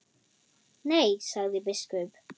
Nei, sagði biskup.